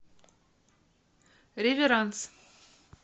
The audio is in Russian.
реверанс